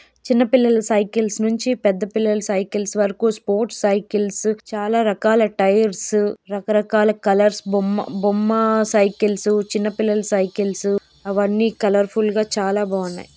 చిన్నపిల్లల సైకిల్స్ నుంచి పెద్ద పిల్లల సైకిల్స్ వరకు స్పోర్ట్స్ సైకిల్స్ చాలా రకాల టైర్స్ రకరకాల కలర్స్ బొమ్మ బొమ్మ సైకిల్స్ చిన్నపిల్లల సైకిల్స్. అవన్నీ కలర్ ఫుల్ గా చాలా బాగున్నాయి.